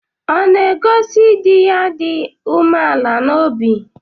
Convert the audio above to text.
Ọ̀ na-egosi di ya dị umeala n'obi?